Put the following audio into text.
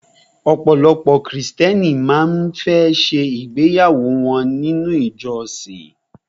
Ọ̀pọ̀lọpọ̀ krìstẹ́nì má ń fẹ́ ṣe ìgbéyàwó wọ́n ní ilé ìjọsin.